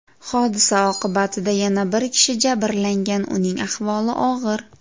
Hodisa oqibatida yana bir kishi jabrlangan, uning ahvoli og‘ir.